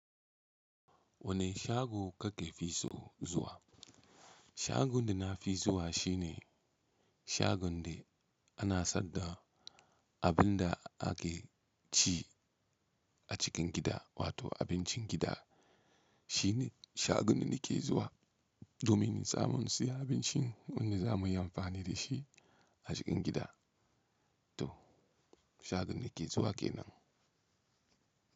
Wane shago kake fi so zuwa? Shagon da na fi zuwa shine shagon da ana saida abin da ake ci a cikin gida wato abincin gida. Shine shagon da nake zuwa domin tsamun siyan abincin da zamu yi amfani da shi a cikin gida. To shagon da nake zuwa ke nan.